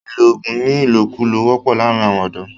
ìlọ oògùn ní ìlòkulò wọ́pọ̀ láàrín àwọn ọ̀dọ̀.